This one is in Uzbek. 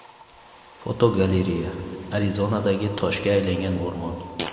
Fotogalereya: Arizonadagi toshga aylangan o‘rmon.